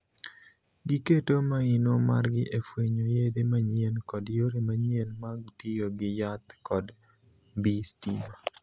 Giketo maino margi e fwenyo yedhe manyien kod yore manyien mag tiyo gi yath kod mbii stima.